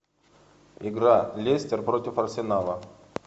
игра лестер против арсенала